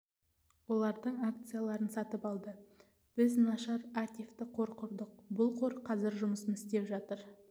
олардың акцияларын сатып алды біз нашар ативті қор құрдық бұл қор қазір жұмысын істеп жатыр